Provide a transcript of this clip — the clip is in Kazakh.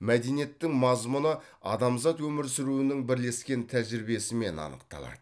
мәдениеттің мазмұны адамзат өмір сүруінің бірлескен тәжірибесімен анықталады